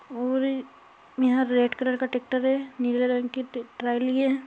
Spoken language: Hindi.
और यहाँ रेड कलर का टैक्टर है नीले रंग की ट्र्राली है।